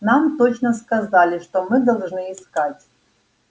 нам точно сказали что мы должны искать